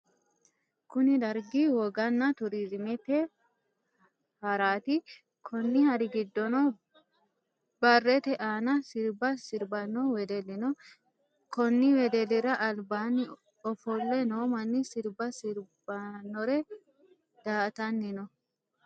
Kunni dargi woganna turiziimete haraati. Konni hari gidoonni barete aanna sirba sirbano wedeli no. Konni wedelira albaanni ofole noo manni sirba sirbitanore daa'atanni no.